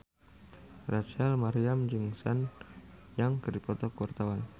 Rachel Maryam jeung Sun Yang keur dipoto ku wartawan